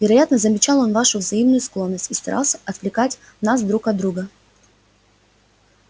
вероятно замечал он нашу взаимную склонность и старался отвлекать нас друг от друга